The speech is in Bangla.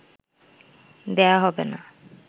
দেয়া হবে না